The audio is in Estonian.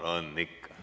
Tarmol ikka on.